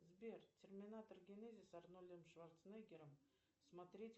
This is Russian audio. сбер терминатор генезис с арнольдом шварценеггером смотреть